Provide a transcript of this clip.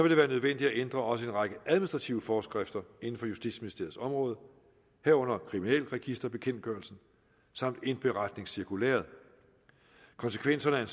det være nødvendigt at ændre også en række administrative forskrifter inden for justitsministeriets område herunder kriminalregisterbekendtgørelsen samt indberetningscirkulæret konsekvenserne af